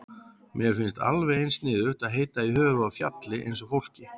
Mér finnst alveg eins sniðugt að heita í höfuðið á fjalli eins og fólki.